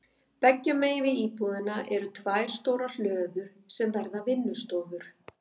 Beggja megin við íbúðina eru tvær stórar hlöður sem verða vinnustofur.